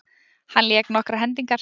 Hann lék nokkrar hendingar.